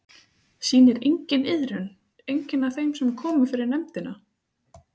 Sýnir enginn iðrun, enginn af þeim sem komu fyrir nefndina?